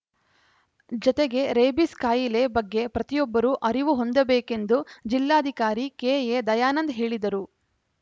ಜತೆಗೆ ರೇಬಿಸ್‌ ಕಾಯಿಲೆ ಬಗ್ಗೆ ಪ್ರತಿಯೊಬ್ಬರು ಅರಿವು ಹೊಂದಬೇಕೆಂದು ಜಿಲ್ಲಾಧಿಕಾರಿ ಕೆಎ ದಯಾನಂದ್‌ ಹೇಳಿದರು